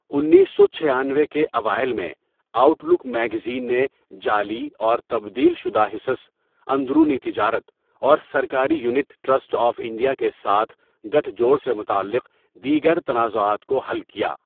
انیس سو چھیانوے کے اوائل میں، آؤٹ لک میگزین نے جعلی اور تبدیل شدہ حصص، اندرونی تجارت، اور سرکاری یونٹ ٹرسٹ آف انڈیا کے ساتھ گٹھ جوڑ سے متعلق دیگر تنازعات کو حل کیا۔